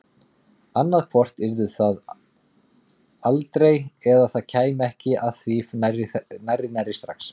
Annaðhvort yrði það aldrei eða það kæmi ekki að því nærri nærri strax.